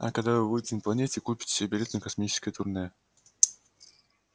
а когда вы будете на планете купите себе билет на космическое турне